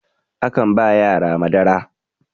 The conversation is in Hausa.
akan ba yara Madara